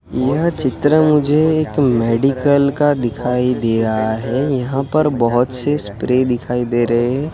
यह चित्र मुझे एक मेडिकल का दिखाई दे रहा है यहां पर बहोत से स्प्रे दिखाई दे रहे--